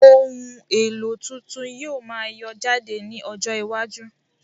Ohun èlò tuntun yóò máa yọ jáde ní ọjọ iwájú